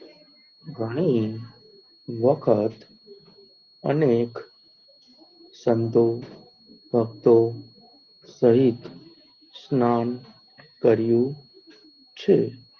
ઘણી વખત અનેક સંતો ભક્તો સહિત સ્નાન કર્યું છે.